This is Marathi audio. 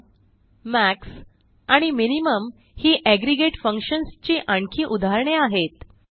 सुम मॅक्स आणि मिनिमम ही एग्रीगेट फंक्शन्स ची आणखी उदाहरणे आहेत